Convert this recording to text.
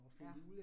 Ja